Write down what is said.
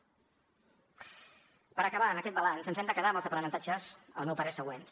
per acabar aquest balanç ens hem de quedar amb els aprenentatges al meu parer següents